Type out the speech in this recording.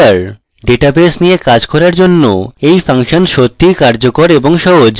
database নিয়ে কাজ করার জন্য এই ফাংশন সত্যিই কার্যকরী এবং সহজ